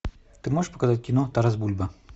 ты можешь показать кино тарас бульба